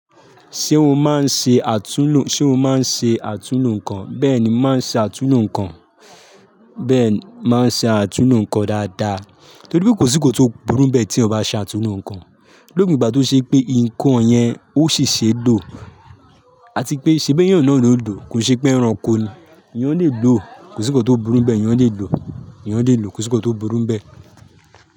Ṣé o máa ń ṣe àtúnlo, ṣe o máa ń ṣe àtúnlo nǹkan? Bẹ́ẹ̀ ni, màá ṣe àtúnlo nǹkan. Bẹ́ẹ̀ ni, màá ṣe àtúnlo nǹkan dáadáa, torí pé kò sí kó tó burú n bẹ́ẹ̀ tí èèyàn bá ṣe àtúnlo nǹkan. Lópin ìgbà tó ṣe pé nǹkan yẹn ó ṣiṣe lo, àti pé ṣe bí èèyàn náà ló ń lò, kò ṣe pé ẹranko ni. Èèyàn lè lò ó, kò sí kó tó burú n bẹ́ẹ̀. Èèyàn lè lò ó, èèyàn lè lò ó, kò sí kó tó burú n bẹ́ẹ̀.